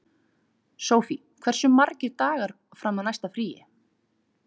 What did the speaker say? Sofie, hversu margir dagar fram að næsta fríi?